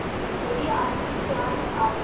যদি আপনি চান